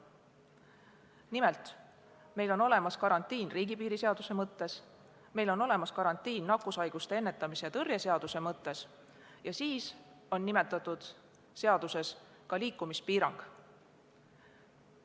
Nimelt, meil on olemas karantiin riigipiiriseaduse mõttes, meil on olemas karantiin nakkushaiguste ennetamise ja tõrje seaduse mõttes ning lisaks on nimetatud seaduses kirjas liikumispiirang.